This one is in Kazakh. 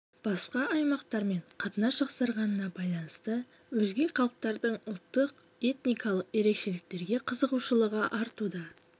басқа аймақтармен қатынас жақсарғанына байланысты өзге халықтардың ұлттық этникалық ерекшеліктерге қызығушылығы артуда